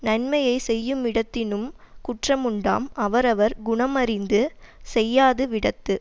நன்மையை செய்யுமிடத்தினும் குற்றமுண்டாம் அவரவர் குணமறிந்து செய்யாது விடத்து